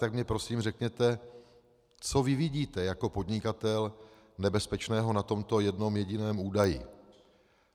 Tak mně prosím řekněte, co vy vidíte jako podnikatel nebezpečného na tomto jednom jediném údaji...